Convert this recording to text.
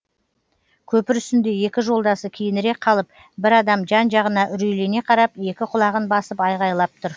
көпір үстінде екі жолдасы кейінірек қалып бір адам жан жағына үрейлене қарап екі құлағын басып айғайлап тұр